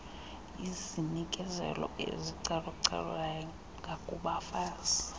izinikezelo ezicalucalulayo ngakubafazi